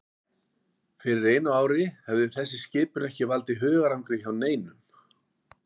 Fyrir einu ári hefði þessi skipun ekki valdið hugarangri hjá neinum.